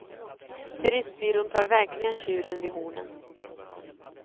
Turistbyrån tar verkligen tjuren vid hornen.